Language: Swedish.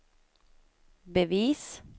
bevis